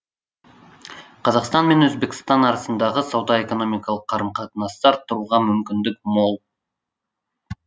қазақстан мен өзбекстан арасындағы сауда экономикалық қарым қатынасты арттыруға мүмкіндік мол